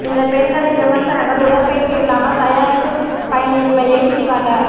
இந்த பெண்களின் விமர்சனங்கள் உடற்பயிற்சி இல்லாமல் தயாரிப்பு பயனின்மையை சுட்டிக்காட்ட